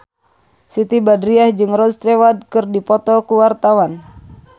Siti Badriah jeung Rod Stewart keur dipoto ku wartawan